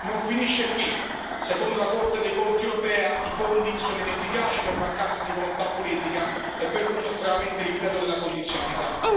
Non finisce qui secondo la Corte dei conti europea, i fondi sono inefficaci per mancanza di volontà politica e per un uso estremamente limitato della condizionalità.